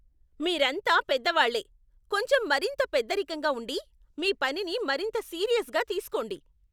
మీరంతా పెద్దవాళ్లే! కొంచెం మరింత పెద్దరికంగా ఉండి, మీ పనిని మరింత సీరియస్గా తీసుకోండి.